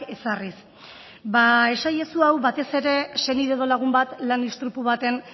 ezarriz ba esaiezu hau batez ere senide edo lagun bat lan istripu baten